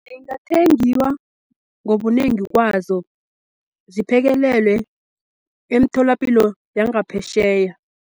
Zingathengiwa ngobunengi kwazo ziphekelelwe emtholapilo yangaphesheya.